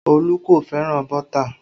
Olu kò fẹ́ràn bọ́tà